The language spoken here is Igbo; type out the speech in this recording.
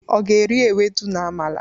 ọ ga eri ewudo na amala?